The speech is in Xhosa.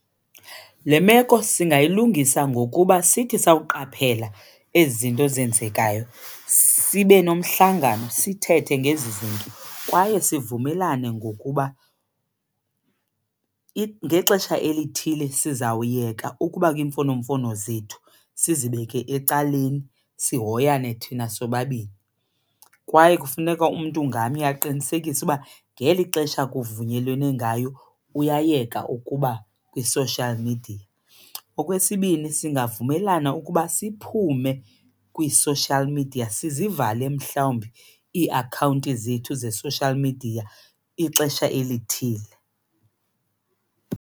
Le meko singayilungisa ngokuba sithi sawuqaphela ezi zinto zenzekayo sibe nomhlangano sithethe ngezi zinto kwaye sivumelane ngokuba ngexesha elithile sizawuyeka ukuba kwiimfonomfono zethu, sizibeke ecaleni sihoyane thina sobabini. Kwaye kufuneka umntu ngamnye aqinisekise ukuba ngeli xesha kuvunyelwane ngalo uyayeka ukuba kwi-social media. Okwesibini, singavumelana ukuba siphume kwi-social media, sizivale mhlawumbi iiakhawunti zethu ze-social media ixesha elithile.